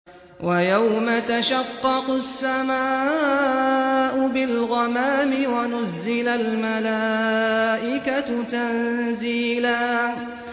وَيَوْمَ تَشَقَّقُ السَّمَاءُ بِالْغَمَامِ وَنُزِّلَ الْمَلَائِكَةُ تَنزِيلًا